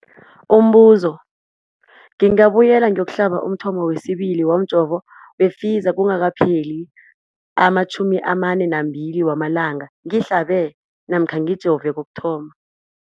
Umbuzo, ngingabuyela ngiyokuhlaba umthamo wesibili womjovo we-Pfizer kungakapheli ama-42 wamalanga ngihlabe namkha ngijove kokuthoma.